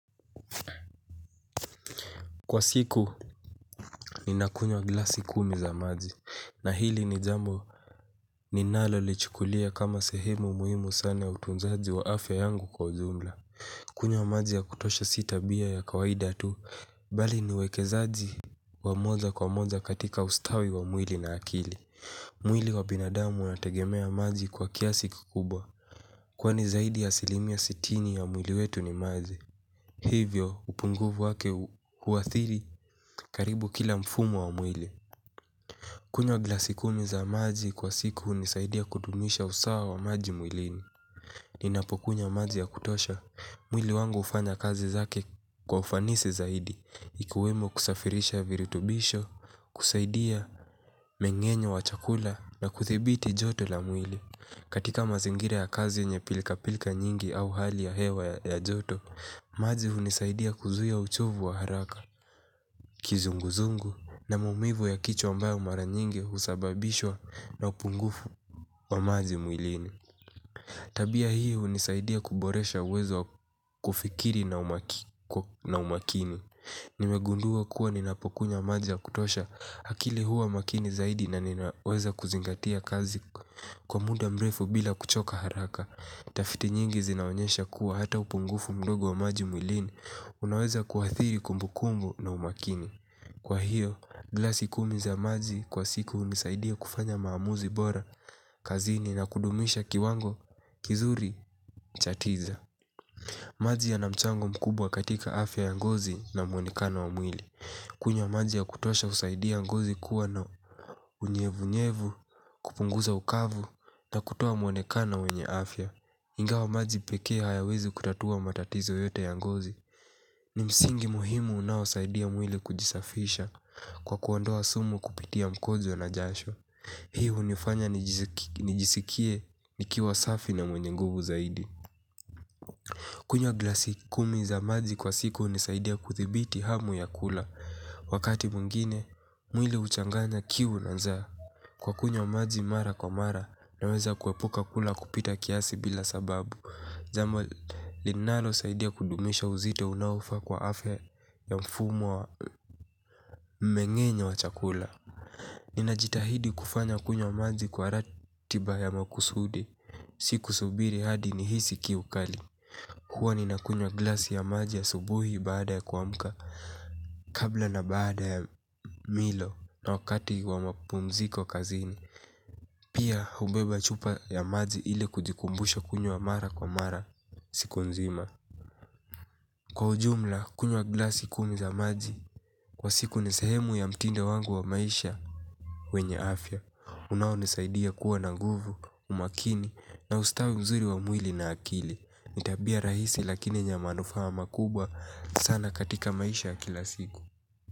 Kwa siku ninakunywa glasi kumi za maji na hili ni jambo ninalo lichukulia kama sehemu muhimu sana utunzaji wa afya yangu kwa ujumla. Kunywa maji ya kutosha si tabia ya kawaida tu bali niwekezaji wa moja kwa moja katika ustawi wa mwili na akili. Mwili wa binadamu inategemea maji kwa kiasi kikubwa. Kwani zaidi ya asilimia sitini ya mwili wetu ni maji. Hivyo upunguvu wake uhathiri karibu kila mfumo wa mwili. Kunywa glasi kumi za maji kwa siku hunisaidia kudumisha usawa wa maji mwili. Ninapokunywa maji ya kutosha, mwili wangu hufanya kazi zake kwa ufanisi zaidi ikuwemo kusafirisha virutubisho, kusaidia mengenyo wa chakula na kuthibiti joto la mwili. Katika mazingira ya kazi yenye pilka pilka nyingi au hali ya hewa ya joto maji hunisaidia kuzuia uchovu wa haraka kizunguzungu na maumivu ya kichwa ambayo mara nyingi husababishwa na upungufu wa maji mwilini. Tabia hii hunisaidia kuboresha uwezo wa kufikiri na umakini. Nimegundua kuwa ninapokunywa maji ya kutosha akili huwa makini zaidi na ninaweza kuzingatia kazi kwa muda mrefu bila kuchoka haraka. Tafiti nyingi zinaonyesha kuwa hata upungufu mdogo wa maji mwilini. Unaweza kuathiri kumbukunbu na umakini. Kwa hiyo, glasi kumi za maji kwa siku hunisaidia kufanya maamuzi bora, kazini na kudumisha kiwango, kizuri, cha tija. Maji yana mchango mkubwa katika afya ya ngozi na muonikano wa mwili. Kunywa maji ya kutosha husaidia ngozi kuwa na unyevu-nyevu, kupunguza ukavu na kutoa muonekana wenye afya. Ingawa maji pekee hayawezi kutatua matatizo yote ya ngozi ni msingi muhimu unaosaidia mwili kujisafisha kwa kuondoa sumu kupitia mkojo na jasho. Hii hunifanya nijisikie nikiwa safi na mwenye nguvu zaidi. Kunywa glasi kumi za maji kwa siku hunisaidia kuthibiti hamu ya kula. Wakati mwingine, mwili huchanganya kiu na za kwa kunya mazi mara kwa mara naweza kuepuka kula kupita kiasi bila sababu jambo linalo saidia kudumisha uzito unaofaa kwa afya ya mfumo wa mengenyo wa chakula. Nina jitahidi kufanya kunywa maji kwa ratiba ya makusudi. Siku subiri hadi nihisi kiu kali huwa ni nakunywa glasi ya maji asubuhi baada ya kua mka kabla na baada ya milo na wakati wa mapumziko kazini. Pia hubeba chupa ya maji ile kujikumbusha kunywa mara kwa mara siku nzima. Kwa ujumla kunywa glasi kumi za maji kwa siku ni sehemu ya mtindo wangu wa maisha wenye afya unao nisaidia kuwa na nguvu, umakini na ustawi mzuri wa mwili na akili ni tabia rahisi lakini ina manufaa makubwa sana katika maisha ya kila siku.